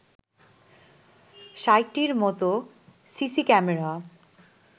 ৬০টির মতো CC camera